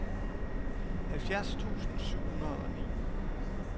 halvfjerds tusind syv hundrede og ni